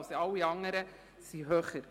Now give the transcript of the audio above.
alle anderen sind höher.